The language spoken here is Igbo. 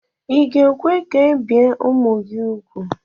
Ị ga-ekwe ka ebie ụmụ gị úgwù?